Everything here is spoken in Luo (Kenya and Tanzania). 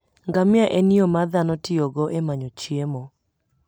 Ngamia en yo ma dhano tiyogo e manyo chiemo.